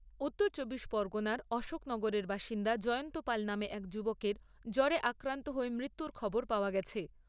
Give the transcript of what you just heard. উত্তর চব্বিশ পরগনার অশোকনগরের বাসিন্দা জয়ন্ত পাল নামে এক যুবকের জ্বরে আক্রান্ত হয়ে মৃত্যুর খবর পাওয়া গেছে।